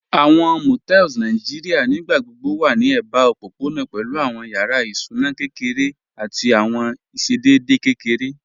Àwọn Motels Nàìjíríà nígbàgbọ̀bọ̀ wà ní èbà òpópọ̀nà pẹ̀lú àwọn yàrá ìsúnà kẹkẹrẹ̀ àti àwọn ìṣẹ̀dẹ̀dẹ̀ kẹkẹrẹ̀